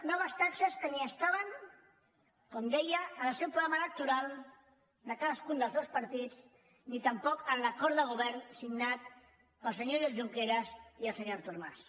noves taxes que ni estaven com deia en el seu programa electoral de cadascun dels seus partits ni tampoc en l’acord de govern signat pel senyor oriol junqueras i el senyor artur mas